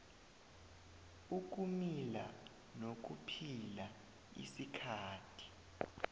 ukumila nokuphila isikhathi